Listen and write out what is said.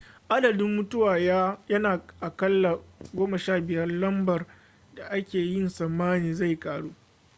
adadin mutuwa yana a aƙalla 15 lambar da ake yi tsammanin zai ƙaru